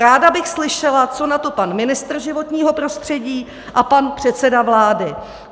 Ráda bych slyšela, co na to pan ministr životního prostředí a pan předseda vlády.